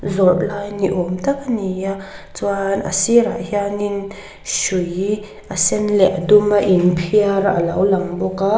zawrh lai ni awm tak a ni a chuan a sirah hianin hrui a sen leh duma inphiar a lo lang bawk a.